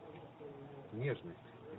нежность